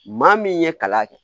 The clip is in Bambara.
Maa min ye kalan kɛ